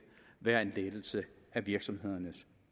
være en lettelse af virksomhedernes